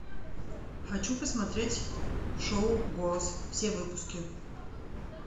хочу посмотреть шоу голос все выпуски